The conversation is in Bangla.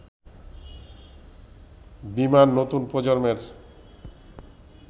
বিমান নতুন প্রজন্মের